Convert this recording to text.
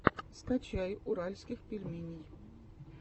скачай уральских пельменей